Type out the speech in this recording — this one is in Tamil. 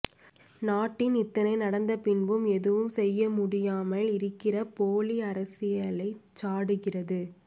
நாட்டில் இத்தனை நடந்தபின்பும் ஏதும் செய்யமுடியாமல் இருக்கினற போலி அரசியலைச் சாடுகிறது